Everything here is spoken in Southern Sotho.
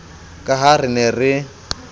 ka ha re ne re